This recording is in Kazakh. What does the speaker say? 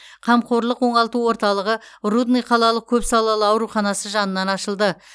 қамқорлық оңалту орталығы рудный қалалық көпсалалы ауруханасы жанынан ашылды